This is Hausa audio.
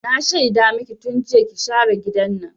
Na shaida maki tun jiya ki share gidan nan!